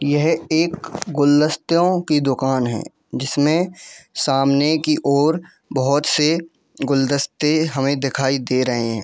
यह एक गुलदस्तों की दुकान है जिसमें सामने की ओर बहुत से गुलदस्ते हमें दिखाई दे रहे हैं।